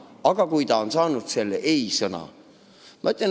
Aga kui nad saavad selle ei-sõna?